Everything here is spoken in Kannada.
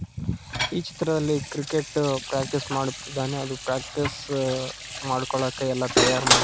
ಈ ಚಿತ್ರದಲ್ಲಿ ಕ್ರಿಕೆಟ್ ಪ್ರಾಕ್ಟೀಸ್ ಮಾಡುತ್ತಿದ್ದಾನೆ ಅದು ಪ್ರಾಕ್ಟೀಸ್ ಮಾಡ್ಕೊಳಕ ಎಲ್ಲ ತಯಾರ್ ಮಾಡ್ಕೋ --